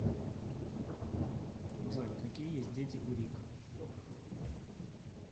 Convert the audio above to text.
джой какие есть дети у рик